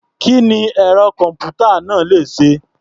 Kí ni ẹ̀rọ-kọ̀m̀pútà náà le ṣe?